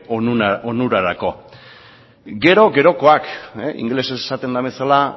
onurarako gero gerokoak ingelesez esaten den bezala